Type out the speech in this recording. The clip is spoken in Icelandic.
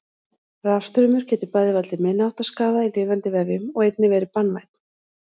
Rafstraumur getur bæði valdið minniháttar skaða í lifandi vefjum og einnig verið banvænn.